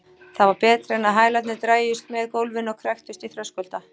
Það var betra en að hælarnir drægjust með gólfinu og kræktust í þröskulda.